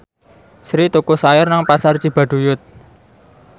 Sri tuku sayur nang Pasar Cibaduyut